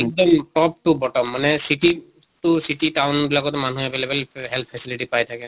এক্দম top to bottom মানে city to city town এইবিলাকত মানুহ available health facility পাই থাকে।